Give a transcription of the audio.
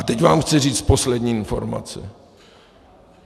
A teď vám chci říct poslední informaci.